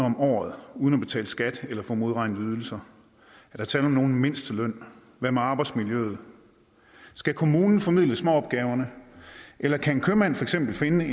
om året uden at betale skat eller at få modregnet ydelser er der tale om nogen mindsteløn hvad med arbejdsmiljøet skal kommunen formidle småopgaverne eller kan en købmand for eksempel finde